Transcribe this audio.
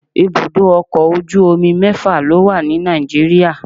ibudọ ọkọ ojú omí mẹfa lo wa ní Nàìjíríà